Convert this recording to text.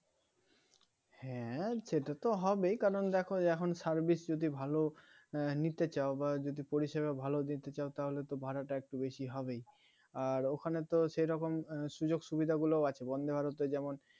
হ্যাঁ সেটা তো হবেই কারণ দেখো এখন Service যদি ভালো আহ নিতে চাও বা পরিষেবা ভালো নিতে চাও তাহলে তো ভাড়াটা একটু বেশি হবেই আর ওখানে তো সেরকম সুযোগ-সুবিধা গুলোও আছে Vande, Bharat এ যেমন